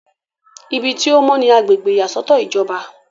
ibi tí ó mọ́ ni agbègbè ìyàsọ́tọ̀ ìjọba